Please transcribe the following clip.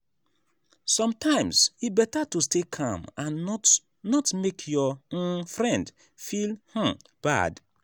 sometimes e better to stay calm and not not make your um friend feel um bad.